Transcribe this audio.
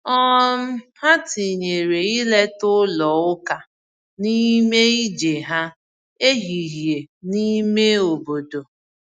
um Ha tinyere ileta ụlọ ụka n’ime ije ha ehihie n’ime obodo.